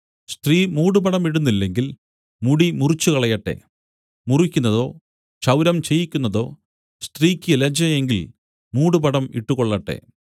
സ്ത്രീ മൂടുപടമിടുന്നില്ലെങ്കിൽ മുടി മുറിച്ചുകളയട്ടെ മുറിക്കുന്നതോ ക്ഷൗരം ചെയ്യിക്കുന്നതോ സ്ത്രീക്ക് ലജ്ജയെങ്കിൽ മൂടുപടം ഇട്ടുകൊള്ളട്ടെ